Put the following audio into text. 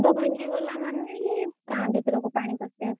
ବନ୍ଧ ଭାଙ୍ଗିଗଲା ମାନେ ହିଁ ଗାଁ ଭିତରକୁ ପାଣି ପଶି ଆସିବ।